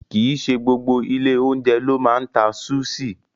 Kì í ṣe gbogbo ilé-oúnjẹ ló máa ń ta súṣì.